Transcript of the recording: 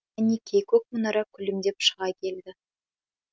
әнекей көк мұнара күлімдеп шыға келді